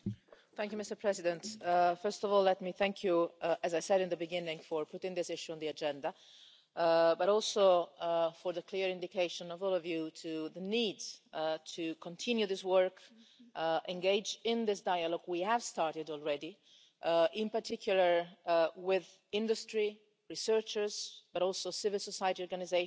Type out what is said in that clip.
Mr President, first of all let me thank you, as I said at the beginning, for putting this issue on the agenda, but also for the clear indication of all of you to the need to continue this work and to engage in this dialogue we have started already, in particular with industry and researchers, but also civil society organisations,